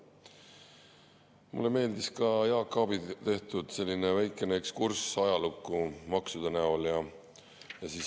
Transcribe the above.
Mulle meeldis Jaak Aabi tehtud väikene ekskurss maksude ajalukku.